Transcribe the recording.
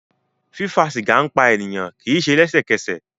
Fífa sìgá ń pa ènìyàn, kì í se lẹ́sẹ̀kẹsẹ̀